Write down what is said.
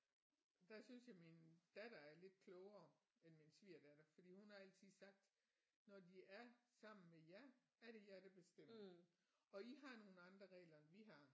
Der synes jeg min datter er lidt klogere end min svigerdatter fordi hun har altid sagt når de er sammen med jer er det jer der bestemmer og I har nogle andre regler end vi har